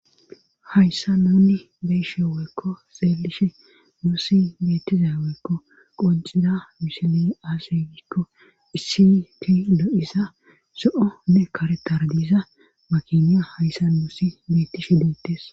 hayssa nuunni beyeshe weykko xeelishe muussi beetiza weykko qoncida misile aasegikko isiti lo7isa so7onne karetardiza makiniya hayssa muussi beettishe duettes